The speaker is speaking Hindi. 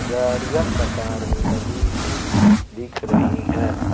गाड़ियां कतार में लगी हुई दिख रही हैं।